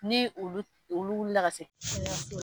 Ni ulu olu wuli ka se fɔ kɛnɛyaso la